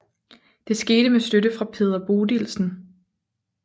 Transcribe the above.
Det skete med støtte fra Peder Bodilsen